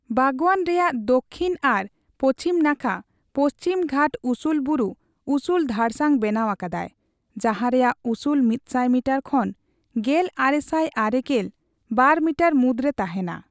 ᱵᱟᱜᱽᱣᱟᱱ ᱨᱮᱭᱟᱜ ᱫᱚᱠᱠᱷᱤᱱ ᱟᱨ ᱯᱚᱪᱷᱤᱢ ᱱᱟᱠᱷᱟ ᱯᱚᱪᱷᱤᱢ ᱜᱷᱟᱴ ᱩᱥᱩᱞ ᱵᱩᱨᱩ ᱩᱥᱩᱞ ᱫᱷᱟᱲᱥᱟᱝ ᱵᱮᱱᱟᱣ ᱟᱠᱟᱫᱟᱭ, ᱡᱟᱦᱟᱸ ᱨᱮᱭᱟᱜ ᱩᱥᱩᱞ ᱢᱤᱛᱥᱟᱭ ᱢᱤᱴᱟᱨ ᱠᱷᱚᱱ ᱜᱮᱞ ᱟᱨᱮᱥᱟᱭ ᱟᱨᱮᱜᱮᱞ ᱵᱟᱨ ᱢᱤᱴᱟᱨ ᱢᱩᱫᱽᱨᱮ ᱛᱟᱦᱮᱱᱟ ᱾